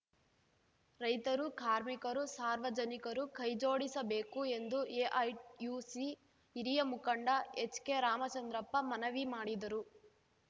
ರೈತರು ಕಾರ್ಮಿಕರು ಸಾರ್ವಜನಿಕರು ಕೈಜೋಡಿಸಬೇಕು ಎಂದು ಎಐಯುಸಿ ಹಿರಿಯ ಮುಖಂಡ ಎಚ್‌ಕೆರಾಮಚಂದ್ರಪ್ಪ ಮನವಿ ಮಾಡಿದರು